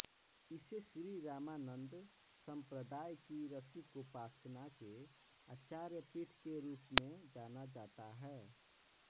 इसे श्री रामानन्द सम्प्रदाय की रसिकोपासना के आचार्यपीठ के रूप में जाना जाता है